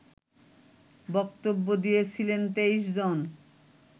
বক্তব্য দিয়েছিলেন ২৩ জন